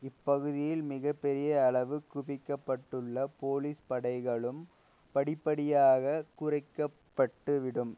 இப்பகுதியில் மிக பெரிய அளவு குவிக்கப்பட்டுள்ள போலீஸ் படைகளும் படிப்படியாக குறைக்கப்பட்டுவிடும்